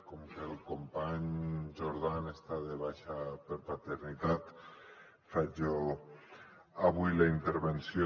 com que el company jordan està de baixa per paternitat faig jo avui la intervenció